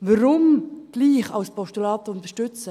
Warum trotzdem als Postulat unterstützen?